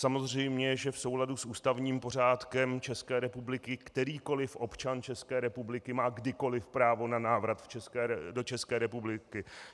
Samozřejmě že v souladu s ústavním pořádkem České republiky kterýkoli občan České republiky má kdykoli právo na návrat do České republiky.